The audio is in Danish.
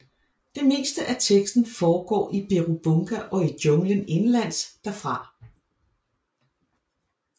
Det meste af teksten foregår i Birubunga og i junglen indenlands derfra